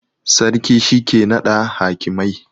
Sarki shi ke nada hakimai